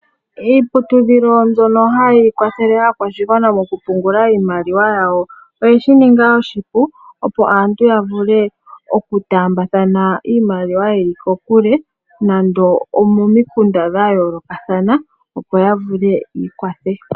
Iiputudhilo mbyono hayi kwathele aakwashigwana mokupungula iimaliwa yawo oyeshi ninga oshipu opo aantu ya vule oku taambathana iimaliwa yeli kokule nando omomimunda dha yoolokathana opo ya vule yiikwathe.